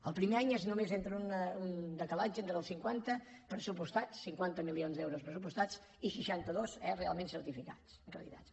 el primer any és només un decalatge entre els cinquanta milions d’euros pressupostats i seixanta dos eh realment certificats acreditats